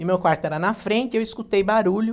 E meu quarto era na frente, eu escutei barulho.